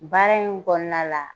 Baara in kɔnɔna la.